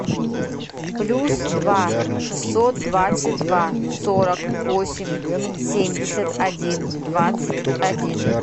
плюс два шестьсот двадцать два сорок восемь семьдесят один двадцать один